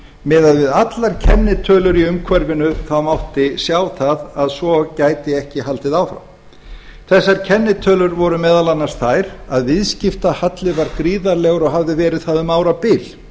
miðað við allar kennitölur í umhverfinu mátti sjá það að svo gæti ekki haldið áfram þessar kennitölur voru meðal annars þær að viðskiptahalli var gríðarlegur og hafði verið það um árabil